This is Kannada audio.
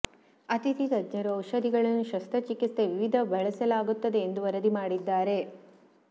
ಅತಿಥಿ ತಜ್ಞರು ಔಷಧಿಗಳನ್ನು ಶಸ್ತ್ರಚಿಕಿತ್ಸೆ ವಿವಿಧ ಬಳಸಲಾಗುತ್ತದೆ ಎಂದು ವರದಿ ಮಾಡಿದ್ದಾರೆ